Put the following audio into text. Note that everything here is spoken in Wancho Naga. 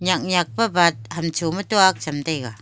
nyak nyak pe bak hamcho tuak chem taga.